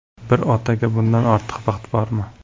Bir otaga bundan ortiq baxt bormi?